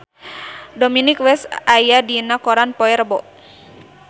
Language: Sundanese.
Dominic West aya dina koran poe Rebo